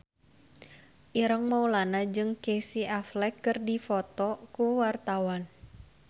Ireng Maulana jeung Casey Affleck keur dipoto ku wartawan